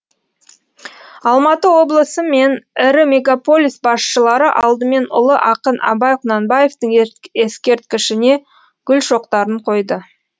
алматы облысы мен ірі мегаполис басшылары алдымен ұлы ақын абай құнанбаевтың ескерткішіне гүл шоқтарын қойды